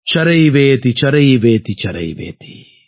சரைவேதி சரைவேதி சரைவேதி